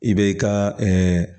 I bɛ ka